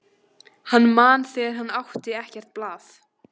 Hann man þegar hann átti ekkert blað.